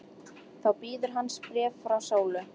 Þá bíður hans bréf frá Sólu.